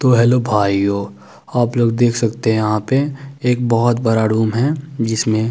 तो हेलो भाइयो आप लोग देख सकते है यहाँ पे एक बोहोत बड़ा रूम है जिसमे --